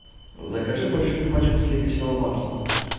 закажи большую пачку сливочного масла